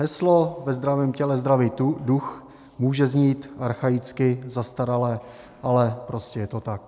Heslo "ve zdravém těle zdravý duch" může znít archaicky, zastarale, ale prostě je to tak.